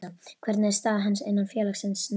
Hvernig er staða hans innan félagsins núna?